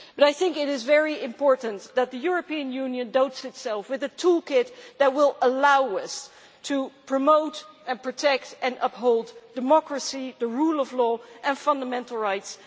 But I think it is very important that the European Union provides itself with a toolkit that will allow us to promote, protect and uphold democracy, the rule of law and fundamental rights.